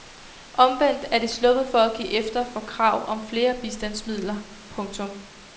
Omvendt er de sluppet for at give efter for krav om flere bistandsmidler. punktum